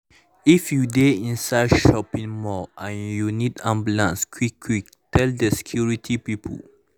if you dey inside shopping mall and you need ambulance quick quick tell the security people.